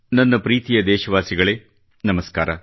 ನನ್ನ ಪ್ರೀತಿಯ ದೇಶವಾಸಿಗಳೇ ನಮಸ್ಕಾರ